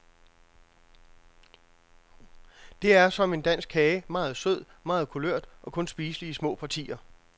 Det er som en dansk kage, meget sød, meget kulørt og kun spiselig i små partier.